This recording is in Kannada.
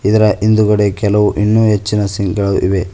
ಇದರ ಹಿಂದುಗಡೆ ಕೆಲವು ಎನ್ನು ಹೆಚ್ಚಿನ ಸಿಂಕ್ ಗಳು ಇವೆ.